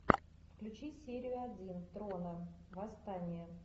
включи серию один трона восстание